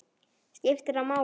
skiptir það máli?